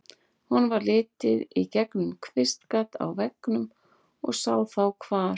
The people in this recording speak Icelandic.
Honum varð litið í gegnum kvistgat á veggnum og sá þá hvar